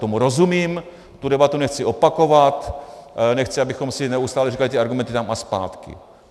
Tomu rozumím, tu debatu nechci opakovat, nechci, abychom si neustále říkali ty argumenty tam a zpátky.